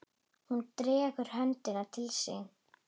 Hún dregur höndina til sín.